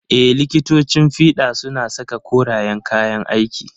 Ee, likitocin fiɗa suna saka koreyan kayan aiki.